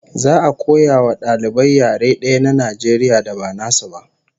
Za'a koya wa dalibai yare daya na Najeriya da ba nasu ba